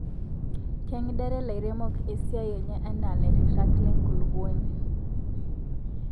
kengidare lairemok esiaai enye anaa lairirak lenkulukuoni